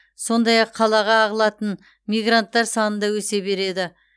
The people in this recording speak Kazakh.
сондай ақ қалаға ағылатын мигранттар саны да өсе береді